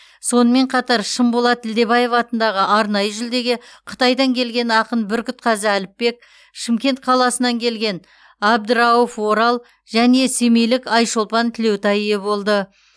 сонымен қатар шынболат ділдебаев атындағы арнайы жүлдеге қытайдан келген ақын бүркітқазы әліпбек шымкент қаласынан келген абдырауф орал және семейлік айшолпан тілеутай ие болды